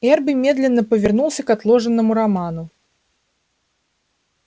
эрби медленно повернулся к отложенному роману